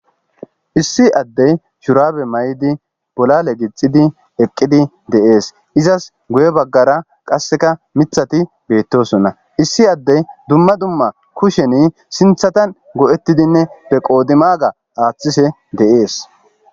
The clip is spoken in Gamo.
issi addey shurabe maydi bolale gixidi eqqidi deees izas guye baggara qasseka mithati beettosonna issi addey dumma dumma kusheni sinthatan go7ettidinne be qoodi maaga aaththise deees